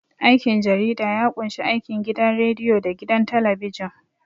Aikin jarida ya ƙunshi aikin gidan radiyo da gidan talabijin.